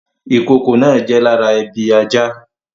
Ìkokò náà jẹ́ lára ebi ajá